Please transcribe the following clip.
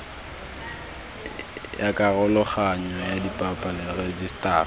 ya karologanyo ya dipalo rejisetara